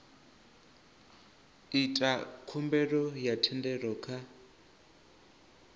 ita khumbelo ya thendelo kha